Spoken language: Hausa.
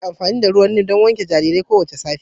Ana amfani da ruwan Neem don wanke jaririn kowace safiya